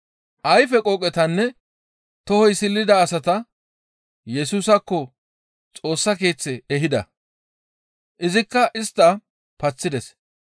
Ayfe qooqetanne tohoy silida asata Yesusaakko Xoossa Keeththe ehida. Izikka istta paththides.